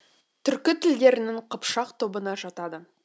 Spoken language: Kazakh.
түркі тілдерінің қыпшақ тобына жатады